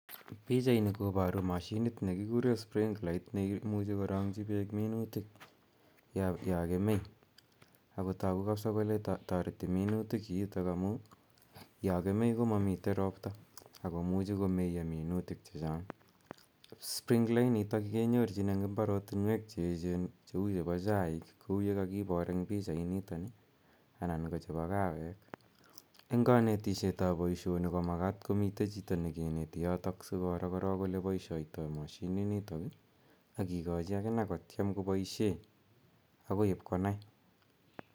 Pichaini koparu mashinit ne kikire sprinklait ne imuchi ko rang'chi peek minutik ya kemei. Ako tagu kapsa kole tareti minutik kiitok amu ya kemei ko mamitei ropta ako muchi komeya minutik che chang'. Sprinkler initok ke nyorchin engo mbarotinwek che echen kou chepa chaiik kou ye kakipar eng' pichainitani anan ko chepa kawek. Eng' kanetishetap poishoni ko mskat komitei yotok chito ne kineti asi koro koro ole paishaitai mashininitok ak kikachi akine ko tiem kopaishe akoi ip konai.